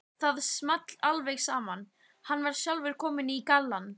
Það small alveg saman, hann var sjálfur kominn í gallann.